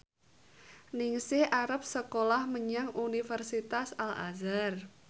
Ningsih arep sekolah menyang Universitas Al Azhar